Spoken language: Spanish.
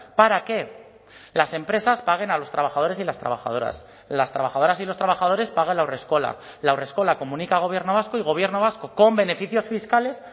para que las empresas paguen a los trabajadores y las trabajadoras las trabajadoras y los trabajadores pagan la haurreskola la haurreskola comunica a gobierno vasco y gobierno vasco con beneficios fiscales